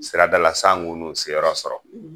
Siradala san kunu se yɔrɔ sɔrɔ